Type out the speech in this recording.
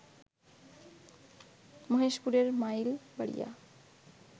মহেশপুরের Mailbaria